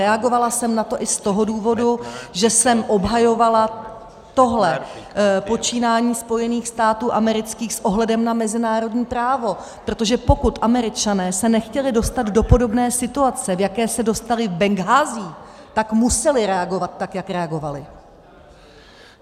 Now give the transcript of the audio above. Reagovala jsem na to i z toho důvodu, že jsem obhajovala tohle počínání Spojených států amerických s ohledem na mezinárodní právo, protože pokud Američané se nechtěli dostat do podobné situace, do jaké se dostali v Benghází, tak museli reagovat tak, jak reagovali.